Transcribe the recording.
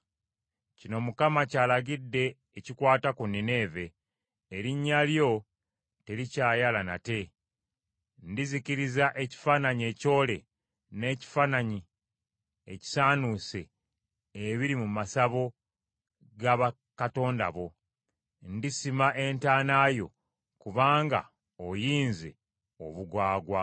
Kino Mukama ky’alagidde ekikwata ku Nineeve: “Erinnya lyo terikyayala nate. Ndizikiriza ekifaananyi ekyole n’ekifaananyi ekisaanuuse ebiri mu masabo g’abakatonda bo; ndisima entaana yo kubanga oyinze obugwagwa.”